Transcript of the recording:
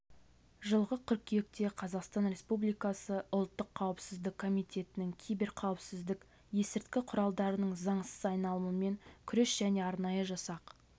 жылғы қыркүйекте қазақстан республикасы ұлттық қауіпсіздік комитетінің киберқауіпсіздік есірткі құралдарының заңсыз айналымымен күрес және арнайы жасақ